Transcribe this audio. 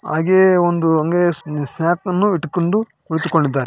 ಹಾಗೇಯೇ ಒಂದು ಹಾಗೇಯೇ ಸ್ಯಾಕ್ಸ್‌ನ್ನು ಇಟ್ಟುಕೊಂಡು ಕುಳಿತುಕೊಂಡಿದ್ದಾರೆ--